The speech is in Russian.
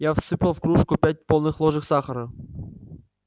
я всыпал в кружку пять полных ложек сахара